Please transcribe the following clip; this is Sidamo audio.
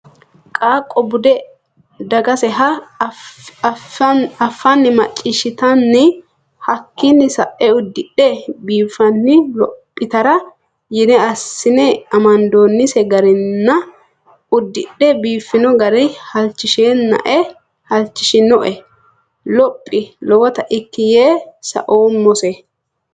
Qaaqqo bude dagaseha afani macciishittanni hakkinni sae uddidhe biifanni lophittara yine assine amandonise garinna uddidhe biifino gari halchishinoe lophi lowotta ikki yee saoommose.